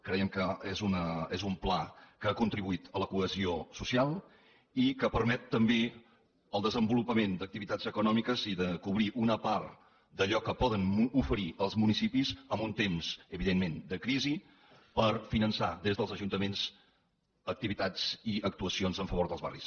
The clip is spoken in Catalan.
creiem que és un pla que ha contribuït a la cohesió social i que permet també el desenvolupament d’activitats econòmiques i cobrir una part d’allò que poden oferir els municipis en un temps evidentment de crisi per finançar des dels ajuntaments activitats i actuacions en favor dels barris